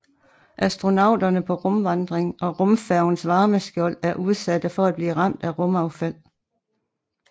Astronauterne på rumvandring og rumfærgens varmeskjold er udsatte for at blive ramt af rumaffald